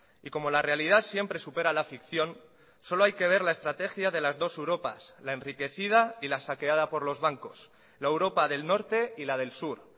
y como la realidad siempre supera a la ficción solo hay que ver la estrategia de las dos europas la enriquecida y la saqueada por los bancos la europa del norte y la del sur